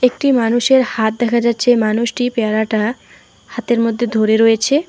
একটি মানুষের হাত দেখা যাচ্ছে মানুষটি পেয়ারাটা হাতের মধ্যে ধরে রয়েছে।